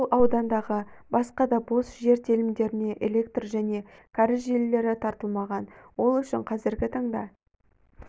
бұл аудандағы басқа да бос жер телімдеріне электр және кәріз желілері тартылмаған ол үшін қазргі таңда